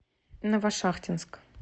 новошахтинск